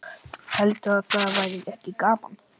Heldurðu að það væri ekki gaman?